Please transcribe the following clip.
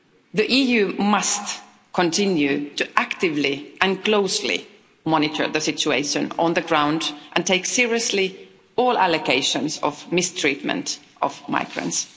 The EU must continue to actively and closely monitor the situation on the ground, and take seriously all allegations of mistreatment of migrants.